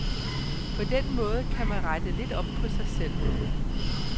På den måde kan man rette lidt op på sig selv.